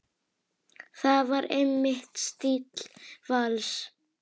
Það var einmitt stíll Vals.